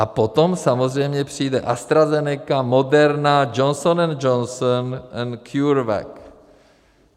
A potom samozřejmě přijde AstraZeneca, Moderna, Johnson & Johnson a CureVac.